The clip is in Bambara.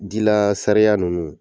Dilaa sariya nunnu